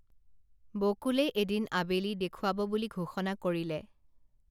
বকুলে এদিন আবেলি দেখুৱাব বুলি ঘোষণা কৰিলে